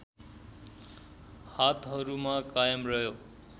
हातहरूमा कायम रह्यो